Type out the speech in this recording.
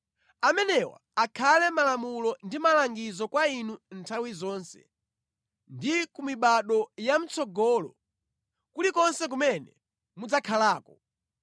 “ ‘Amenewa akhale malamulo ndi malangizo kwa inu nthawi zonse ndi ku mibado ya mʼtsogolo, kulikonse kumene mudzakhalako.